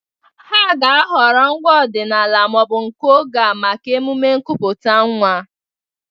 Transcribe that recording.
Ha ga-ahọrọ ngwaa ọdịnala ma ọ bụ nke oge a maka ememe nkupute nwa.